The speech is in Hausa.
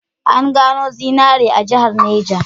An gano zinari a jihar Neja.